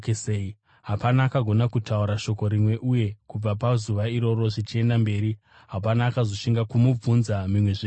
Hapana akagona kutaura shoko rimwe, uye kubva pazuva iroro zvichienda mberi hapana akazoshinga kumubvunza mimwezve mibvunzo.